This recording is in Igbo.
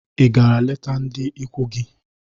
Ị gara leta ndị ikwu gị?